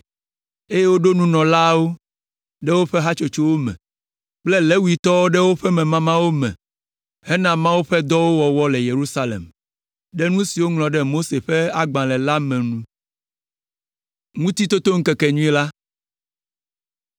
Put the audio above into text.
eye woɖo nunɔlaawo ɖe woƒe hatsotsowo me kple Levitɔwo ɖe woƒe memamawo me hena Mawu ƒe dɔwo wɔwɔ le Yerusalem, ɖe nu si woŋlɔ ɖe Mose ƒe Agbalẽ la me nu.